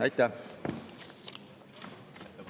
Aitäh!